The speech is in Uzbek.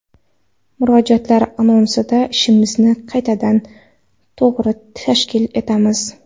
Murojaatlar asnosida ishimizni qaytadan, to‘g‘ri tashkil etamiz.